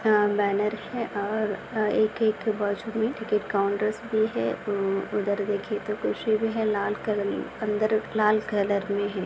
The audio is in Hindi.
अ बॅनर है और एक एक वॉशरूम है एक-एक टिकट काउन्टरस भी है उधर देखे तो कुर्सी भी है लाल कलर मे अंदर लाल कलर मे है।